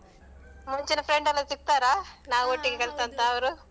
ಮುಂಚಿನ friend ಎಲ್ಲ ಸಿಗ್ತಾರಾ, ನಾವು ಒಟ್ಟಿಗೆ ಕಲಿತಂತಾವರು?